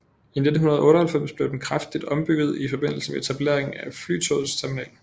I 1998 blev den kraftigt ombygget i forbindelse med etableringen af Flytogets terminal